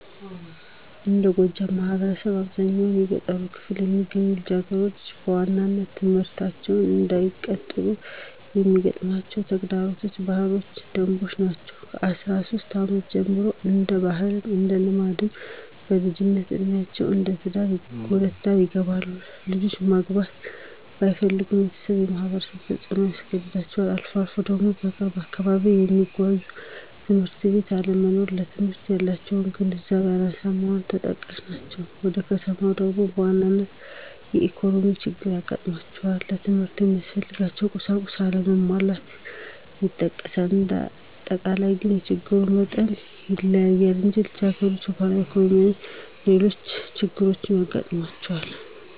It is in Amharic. እንደ ጎጃም ማህበረሰብ አብዛኛው በገጠሩ ክፍል የሚገኙት ልጃገረዶች በዋናነት ትምህርታቸውን እንዳይቀጥሉ የሚገጥማቸው ተግዳሮቶች ባህላዊ ደንቦች ናቸው። ከአስራ ሶስት አመት ጀምሮ እንደ ባህልም እንደ ልማድም በልጅነት እዴሜአቸው ወደ ትዳር ይገባሉ። ልጆች ማግባት ባይፈልጉም የቤተሰብም የማህበረሰቡ ተፅኖ ያስገድዳቸዋል። አልፎ አልፎ ደግሞ በቅርብ አካባቢ የተሟላ ትምህርት ቤት አለመኖር ለትምህርት ያላቸው ግንዛቤ አናሳ መሆንም ተጠቃሽ ናቸው። ወደ ከተማው ደግሞ በዋናነት የኢኮኖሚ ችግር ይገጥማቸዋል ለትምህርት የሚያስፈልጉ ቁሳቁሶች አለመሟላት ይጠቀሳል። እንዳጠቃላይ ግን የችግሩ መጠን ይለያያል እንጂ ልጃገረዶች የባህልም የኢኮኖሚም ሌሎች ችግሮችም ይገጥሟቸዋል።